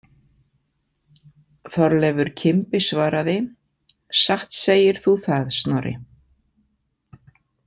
Þorleifur kimbi svaraði: Satt segir þú það, Snorri.